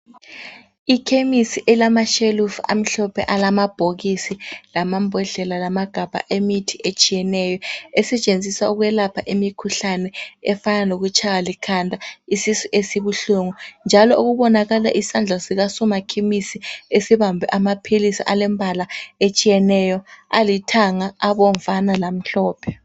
Ikhemisi ilamashelufu amhlophe. Alamabhokisi, lamambodlela, lamagabha emithi etshiyeneyo. Esetshenziswa ukwelapha imikhuhlane efana lokutshaywa likhanda, isisu esibuhlungu, njalo okubonakala isandla sikasomakhemisi esibambe amaphilisi alembala etshiyeneyo, alithanga, abomvana, lamhlophe.